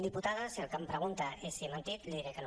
diputada si el que em pregunta és si he mentit li diré que no